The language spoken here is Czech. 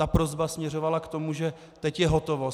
Ta prosba směřovala k tomu, že teď je hotovo.